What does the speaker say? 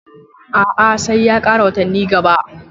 A a, sai ya ƙara watanni gaba